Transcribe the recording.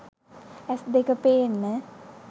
ඇස්‌ දෙක පේන්න